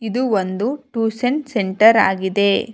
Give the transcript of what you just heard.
ಇದು ಒಂದು tuition centre ಆಗಿದೆ.